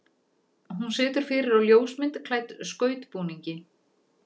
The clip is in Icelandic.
Hún situr fyrir á ljósmynd klædd skautbúningi.